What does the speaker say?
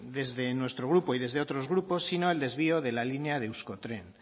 desde nuestro grupo y desde otros grupos sino el desvío de la línea de euskotren